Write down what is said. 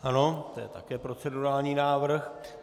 Ano, to je také procedurální návrh.